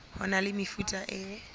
ho na le mefuta e